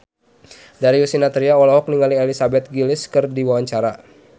Darius Sinathrya olohok ningali Elizabeth Gillies keur diwawancara